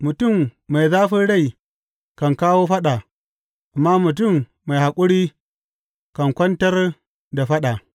Mutum mai zafin rai kan kawo faɗa, amma mutum mai haƙuri kan kwantar da faɗa.